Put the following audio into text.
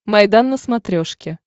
майдан на смотрешке